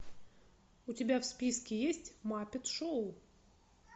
у тебя в списке есть маппет шоу